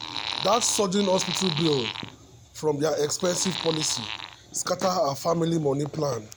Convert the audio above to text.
that sudden hospital bill from their expensive policy scatter her family money plan.